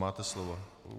Máte slovo.